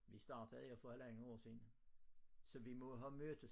Vi startede her for halvandet år siden så vi må havde mødtes